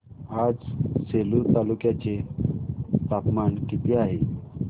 आज सेलू तालुक्या चे तापमान किती आहे